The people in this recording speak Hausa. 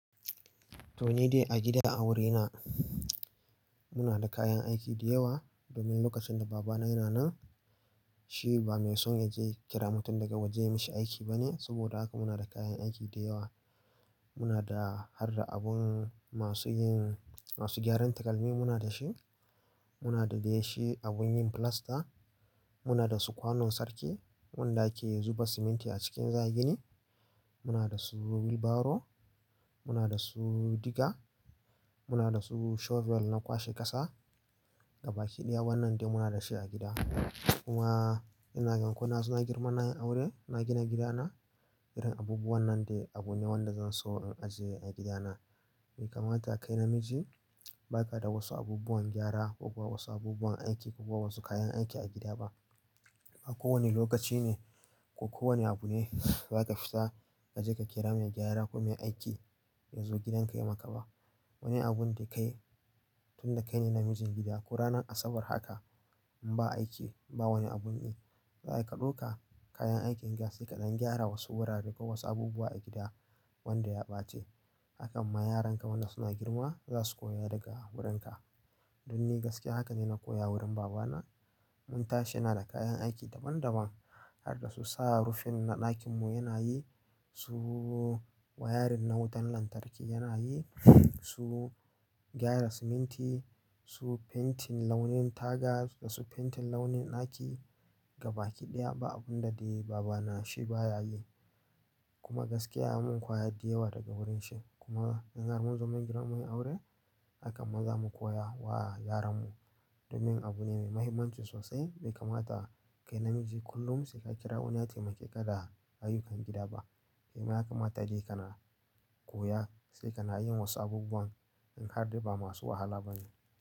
Toni dai a gida a wurina muna da kayan aiki dayawa domin lokacin da baba na yana nan shi ba mai son ya je ya kira mutum daga waje ya mishi aiki ba ne. Saboda haka muna da kayan aiki dayawa. Muna da har da abun masu yin, masu gyaran takalmi muna da shi, muna da dai shi abun yin filasta, muna da su kwanon sarki wanda ake zuba siminti a cikin za gini, muna da su wheel barrow, muna da su diga, muna da su shovel na kwashe ƙasa gaba ki ɗaya Wannan dai muna da shi a gida. Kuma yana yankuna suna girman ɗan aure na gina gidana irin abubuwan nan dai abu ne wanda zan so in ajiye a gidana. Bai kamata kai namiji ba ka da wasu abubuwan gyara ko kuwa wasu abubuwan aiki ko kuwa wasu kayan aiki a gida ba. Ba kowane lokaci ne ko kowane abu ne za ka fita ka je ka kira mai gyara ko mai aiki ya zo gidanka ya maka ba. Wani abun da kai tun da kai ne namijin gida ko ranar asabar haka in ba aiki ba wani abun yi, za ka ɗauka kayan aikin ka sai kaɗan gyara wasu wurare ko wasu abubuwa a gida wanda ya ɓace. Hakan ma yaranka wanda suna girma za su koya daga wurinka. Don ni gaskiya haka ne na koya wurin baba na. Mun tashi na da kayan aiki daban daban har da su sa rufin na ɗakin mu yana yi, su wayarin na wutan lantarki yana yi, su gyara siminti, su fentin launin taga da su fentin launin ɗaki gaba ƙiɗaya ba abun da dai baba na shi ba ya yi. Kuma gaskiya ya mun kwaya dayawa daga wurin shi. Kuma zan mun zo mun girma mun yi aure hakan ma zamu koya wa yaran mu domin abu ne mai mahimmanci sosai. Bai kamata kai namiji kullum sai ka kira wani ya taimake ka da ayyukan gida ba. Kai ma yaka ma ta dai kana koya sai kana yin wasu abubuwan in har dai ba masu wahala ba ne.